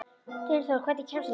Dynþór, hvernig kemst ég þangað?